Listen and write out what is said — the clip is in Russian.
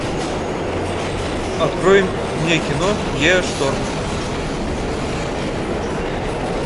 открой мне кино геошторм